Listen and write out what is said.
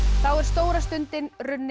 þá er stóra stundin runnin